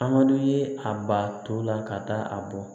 A man d'u ye a ba to la ka taa a bɔ